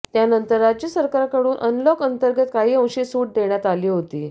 त्यानंतर राज्य सरकारकडून अनलॉक अंतर्गत काही अंशी सूट देण्यात आली होती